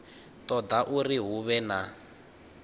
toda uri hu vhe na